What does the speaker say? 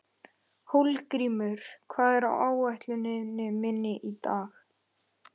Hólmgrímur, hvað er á áætluninni minni í dag?